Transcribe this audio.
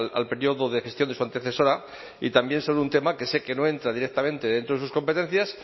al periodo de gestión de su antecesora y también sobre un tema que sé que no entra directamente dentro de sus competencias